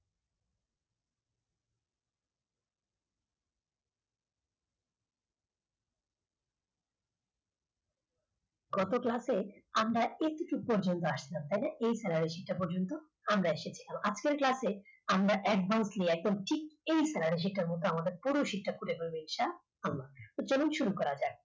গত class এ আমরা e ticket পর্যন্ত আসলাম তাহলে এই salary sheet টা পর্যন্ত